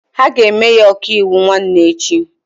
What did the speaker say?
Ha ga-eme ya ọkaiwu nwanne echi.